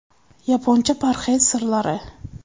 Yaponcha parhezning sirlari.